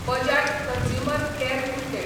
Bajaj consumer care limited